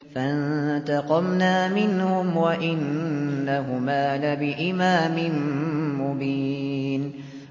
فَانتَقَمْنَا مِنْهُمْ وَإِنَّهُمَا لَبِإِمَامٍ مُّبِينٍ